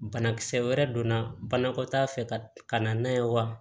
Banakisɛ wɛrɛ donna banakɔtaa fɛ ka na n'a ye wa